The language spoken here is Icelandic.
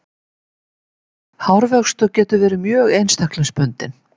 hárvöxtur getur verið mjög einstaklingsbundinn